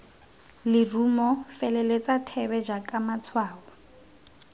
lerumo feleletsa thebe jaaka matshwao